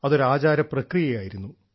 അതൊരു ആചാര പ്രക്രിയയായിരുന്നു